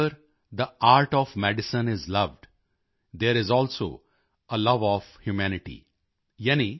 wherever the art of medicine is loved there is also a love of humanity